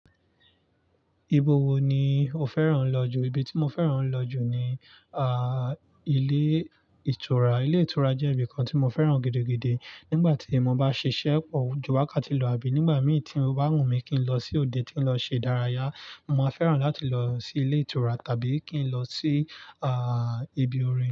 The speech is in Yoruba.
Ibo wo ni o fẹ́ràn lọ jù? Ibi tí mo fẹ́ràn lọ jù ni, ah, ilé ìtura. Ilé ìtura jé ibìkan tí mo féràn gidigidi. Nígbà tí mo bá ṣiṣẹ́ pọ̀, ju wakati lọ̀ àbí nígbà mí tí o bá wù mí kí n lọ sí òde tí n lọ ṣe ìdárayá, mo má fẹ́ràn láti lọ sí ilé ìtura tàbí kí n lọ sí, ah, ibi orin.